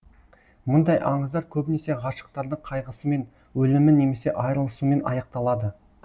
мұндай аңыздар көбінесе ғашықтардың қайғысымен өлімі немесе айрылысуымен аяқталады